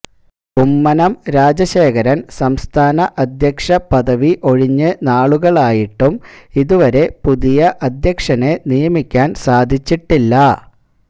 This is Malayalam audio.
കുമ്മനം രാജശേഖരൻ സംസ്ഥാന അധ്യക്ഷ പദവി ഒഴിഞ്ഞ് നാളുകളായിട്ടും ഇതുവരെ പുതിയ അധ്യക്ഷനെ നിയമിക്കാൻ സാധിച്ചിട്ടില്ല